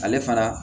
Ale fana